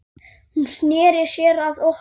Hún sneri sér að okkur